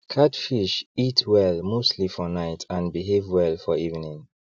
catfish eat well mostly for night and behave well for evening